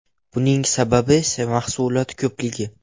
Buning sababi esa mahsulot ko‘pligi.